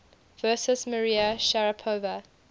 versus maria sharapova